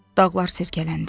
Dağlar silkələndi.